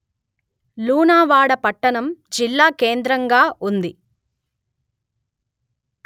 లూనావాడ పట్టణం జిల్లాకేంద్రంగా ఉంది